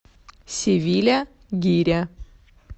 севиля гиря